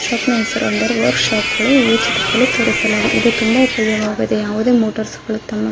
shop ನ ಹೆಸರು ಎಂದರೆ ವರ್ಕ್ಶಾಪ್ ಗಳು ಈ ಚಿತ್ರದಲ್ಲಿ ತೋರಿಸಲಾಗಿದೆ ಇದು ತುಂಬಾ ಉಪಯೋಗವಾಗಿದೆ ಯಾವುದೇ ಮೋಟಾರ್ಸ್ ಗಳು ತಮ್ಮ --